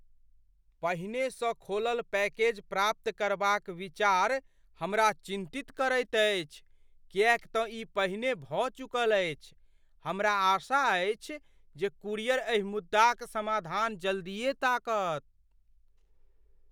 पहिनेसँ खोलल पैकेज प्राप्त करबाक विचार हमरा चिन्तित करैत अछि किएक तँ ई पहिने भऽ चुकल अछि, हमरा आशा अछि जे कूरियर एहि मुद्दाक समाधान जल्दिए ताकत।